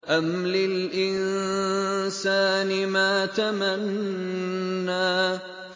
أَمْ لِلْإِنسَانِ مَا تَمَنَّىٰ